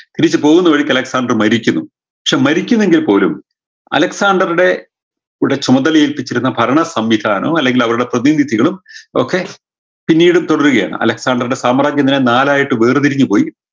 തിരിച്ചു പോകുന്ന വഴിക്ക് അലക്‌സാണ്ടർ മരിക്കുന്നു ക്ഷേ മരിക്കുന്നെങ്കിൽ പോലും അലക്‌സാണ്ടറുടെ ഉടെ ചുമതല ഏല്പിച്ചിരുന്ന ഭരണ സംവിധാനോ അല്ലെങ്കിൽ അവരുടെ പ്രതിനിധികളും ഒക്കെ പിന്നീടും തുടരുകയാണ് അലക്‌സാണ്ടറുടെ സാമ്രാജ്യം തന്നെ നാലായിട്ട് വേർതിരിഞ്ഞുപോയി